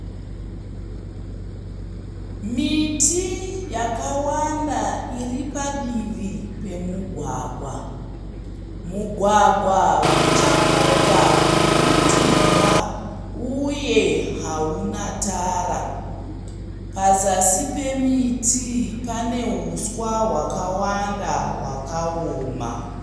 Miti yakawanda iripadivi pemugwagwa. Mugwagwa uchangobva kuundirwa uye hauna tara. Pazasi pemiti pane huswa hwakawanda hwakaoma.